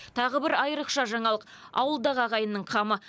тағы бір айрықша жаңалық ауылдағы ағайынның қамы